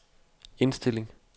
indstilling